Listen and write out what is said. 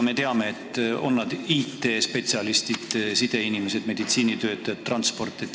Me teame, et sellised töötajad on IT-spetsialistid, sideinimesed, meditsiinitöötajad, transporditöötajad.